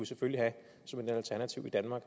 selvfølgelig have som et alternativ i danmark